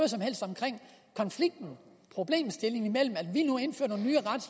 som helst omkring konflikten problemstillingen